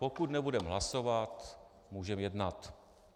Pokud nebudeme hlasovat, můžeme jednat.